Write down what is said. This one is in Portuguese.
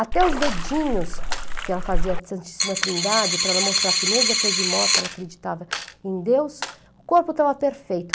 Até os dedinhos, que ela fazia Santíssima Trindade para ela mostrar que mesmo depois de morta ela acreditava em Deus, o corpo estava perfeito.